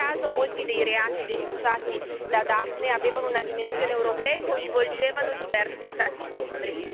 Non a caso, molti dei reati denunciati da Daphne avevano una dimensione europea e coinvolgevano diversi Stati membri.